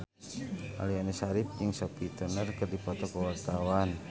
Aliando Syarif jeung Sophie Turner keur dipoto ku wartawan